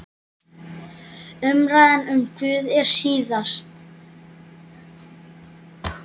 Umræðan um Guð er sístæð.